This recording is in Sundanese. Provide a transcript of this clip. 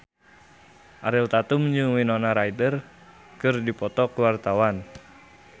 Ariel Tatum jeung Winona Ryder keur dipoto ku wartawan